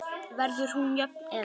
Verður hún jöfn eða?